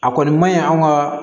A kɔni man ɲi anw ka